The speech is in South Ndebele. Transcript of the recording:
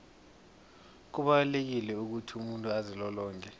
kubalulekile ukuthi umuntu azilolonge